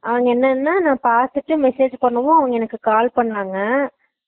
அவங்க என்னன்னா நா பாத்துட்டு message பண்ணுங்க அவங்க என்னக்கு call பண்ணாங்க